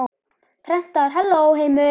Prentar Halló, heimur!